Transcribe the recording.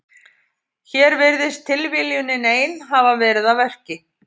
Hér virðist tilviljunin ein hafa verið að verki.